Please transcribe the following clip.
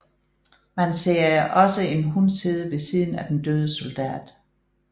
Man ser også en hund sidde ved siden af den døde soldat